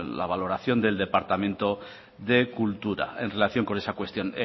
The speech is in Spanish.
la valoración del departamento de cultura en relación con esa cuestión